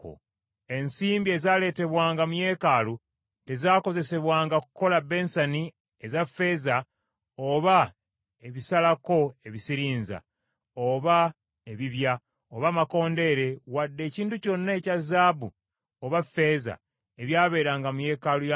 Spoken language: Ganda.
Ensimbi ezaaleetebwanga mu yeekaalu tezaakozesebwanga kukola bensani eza ffeeza, oba ebisalako ebisirinza, oba ebibya, oba amakondeere wadde ekintu kyonna ekya zaabu oba ffeeza ebyabeeranga mu yeekaalu ya Mukama ;